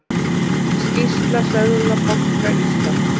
Skýrsla Seðlabanka Íslands